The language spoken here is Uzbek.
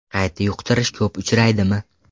Qayta yuqtirish ko‘p uchraydimi?